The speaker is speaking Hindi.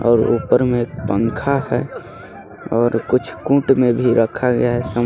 और ऊपर में एक पंखा है और कुछ कूट में भी रखा गया है समा--